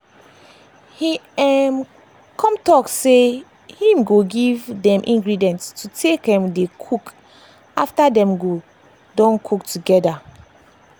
he um come tell dem say him go give dem ingredient to take um dey cook after dem go don cook together